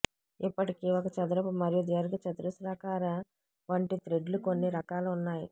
ఇప్పటికీ ఒక చదరపు మరియు దీర్ఘచతురస్రాకార వంటి థ్రెడ్లు కొన్ని రకాల ఉన్నాయి